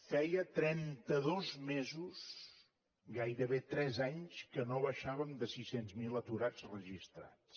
feia trenta dos mesos gairebé tres anys que no baixàvem de sis cents miler aturats registrats